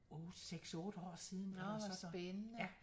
8 6 8 år siden eller sådan ja